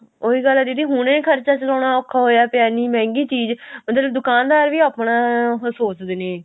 ਉਹੀ ਗੱਲ ਆ ਦੀਦੀ ਹੁਣੇ ਖਰਚਾ ਚਲਾਉਣ ਔਖਾ ਹੋਇਆ ਪਿਆ ਇੰਨੀ ਮਹਿੰਗੀ ਚੀਜ ਮਤਲਬ ਵੀ ਦੁਕਾਨ ਦਾਰ ਵੀ ਆਪਣਾ ਸੋਚਦੇ ਨੇ